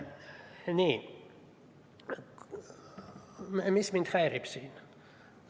Mis mind siin häirib?